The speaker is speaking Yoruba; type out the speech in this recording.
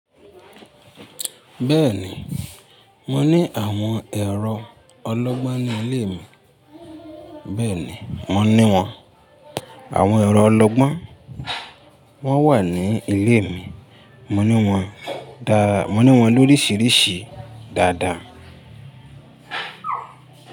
Bẹ́ẹ̀ ni, mo ní àwọn ẹ̀rọ ọlọ́gbọ́n ní ilé mi, bẹ́ẹ̀ ni, mo ní wọn. Àwọn ẹ̀rọ ọlọ́gbọ́n máa wà ní ilé mi, mo ní wọn dá, mo ní wọn lorisirisi dáadáa.